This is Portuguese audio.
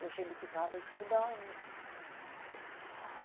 E a gente ficava escutando.